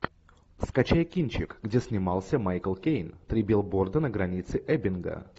скачай кинчик где снимался майкл кейн три билборда на границе эббинга